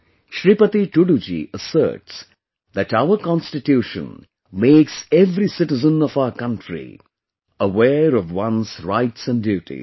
Shripati Tudu ji asserts that our Constitution makes every citizen of our country aware of one's rights and duties